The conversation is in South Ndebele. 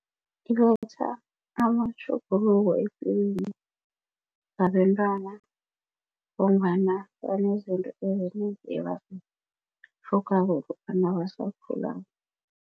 Iletha amatjhuguluko epilweni wabentwana ngombana banezinto ezinengi ebazitlhogako lokha nabasakhulako.